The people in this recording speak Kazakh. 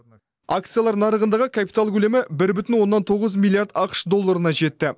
акциялар нарығындағы капитал көлемі бір бүтін оннан тоғыз миллиард ақш долларына жетті